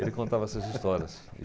Ele contava essas histórias.